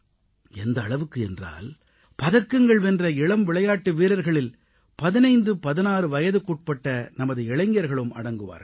எந்த அளவுக்கு என்றால் பதக்கங்கள் வென்ற இளம் விளையாட்டு வீரர்களில் 1516 வயதுக்குட்பட்ட நமது இளைஞர்களும் அடங்குவார்கள்